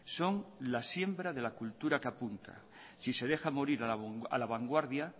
son la siembra de la cultura que apunta si se deja morir a la vanguardia